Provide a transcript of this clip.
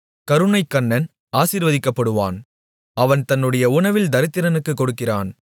கருணைக்கண்ணன் ஆசீர்வதிக்கப்படுவான் அவன் தன்னுடைய உணவில் தரித்திரனுக்குக் கொடுக்கிறான்